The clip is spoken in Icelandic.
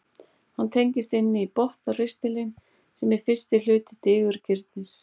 hann tengist inn í botnristilinn sem er fyrsti hluti digurgirnis